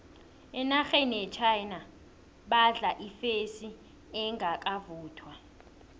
enarheni yechina badla ifesi engakavuthwa